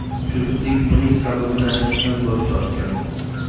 Juftlik buning sababini aytishdan bosh tortgan.